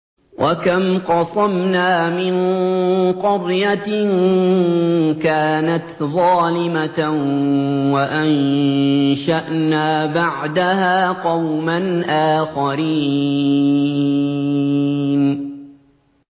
وَكَمْ قَصَمْنَا مِن قَرْيَةٍ كَانَتْ ظَالِمَةً وَأَنشَأْنَا بَعْدَهَا قَوْمًا آخَرِينَ